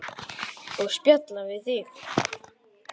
Og spjalla við þig.